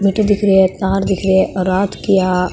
मिट्टी दिख रहे है तार दिख रहे है रात की या --